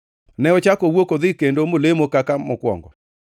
Ne ochako owuok odhi kendo molemo kaka mokwongo.